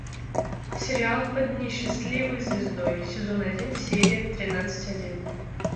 сериал под несчастливой звездой сезон один серия тринадцать один